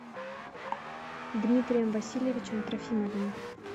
дмитрием васильевичем трофимовым